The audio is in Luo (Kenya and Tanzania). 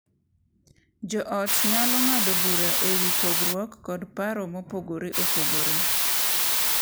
Jo ot nyalo ng’ado bura e wi pogruok kod paro mopogore opogore